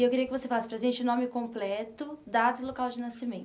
E eu queria que você falasse para a gente o nome completo, data e local de nascimento.